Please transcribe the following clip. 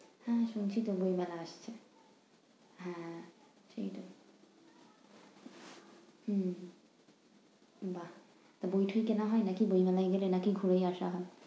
হ্যাঁ শীঘ্রই বই মেলা আসছে, হ্যাঁ শীঘ্রই। হুম বাহ! তো বই টই কেনা হয় নাকি বই মেলায় গেলে, নাকি ঘুরেই আসা হয়?